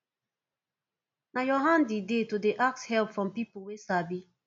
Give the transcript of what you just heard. na your hand e dey to dey ask help from pipo wey sabi